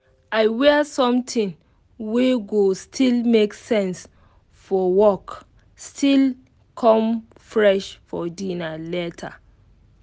i wear something wey go still make sense fo work still come fresh for dinner later